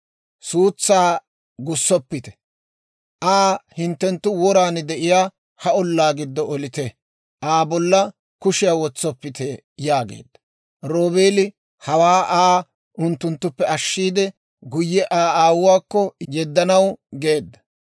Suutsaa gussoppite; Aa hinttenttu woran de'iyaa ha ollaa giddo olite; Aa bolla kushiyaa wotsoppite» yaageedda. Roobeeli hawaa Aa unttunttuppe ashshiide guyye Aa aawuwaakko yeddanaw geedda.